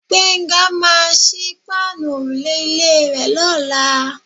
Gbénga máà ń sí páànù òrùlé ilé rè lọ́la.